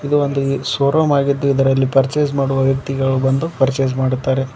ಇದು ಒಂದು showroom ಆಗಿದ್ದು ಇದರಲ್ಲಿ ಪರ್ಚೇಸ್ ಮಾಡುವ ವ್ಯಕ್ತಿಗಳು ಬಂದು ಪರ್ಚೇಸ್ ಮಾಡುತ್ತಾರೆ.